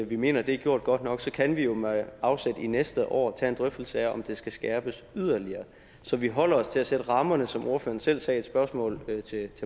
vi mener at det er gjort godt nok kan vi jo med afsæt i næste år tage en drøftelse af om det skal skærpes yderligere så vi holder os til at sætte rammerne som ordføreren selv sagde i spørgsmålet til